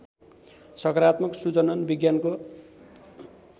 सकारात्मक सुजनन विज्ञानको